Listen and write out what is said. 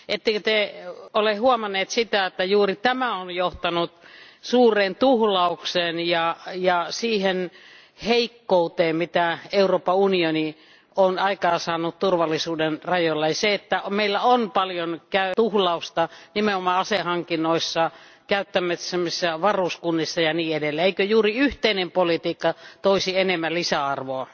Ettekö Te ole huomannut sitä, että juuri tämä on johtanut suureen tuhlaukseen ja siihen heikkouteen, jota Euroopan unioni on aikaan saanut turvallisuuden alalla, ja siihen, että meillä on paljon tuhlausta nimenomaan asehankinnoissa, käyttämissämme varuskunnissa ja niin edelleen. Eikö juuri yhteinen politiikka toisi enemmän lisäarvoa?